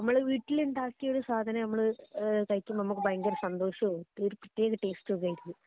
നമ്മള് വീടിലുണ്ടാക്കിയ ഒരു സാധനം നമ്മള് കഴിക്കുമ്പോ അമ്മക്ക് ഭയങ്കര സന്തോഷവും ഒരു പ്രത്യേക ടേസ്റ്റ് ഒക്കെ ആയിരിക്കും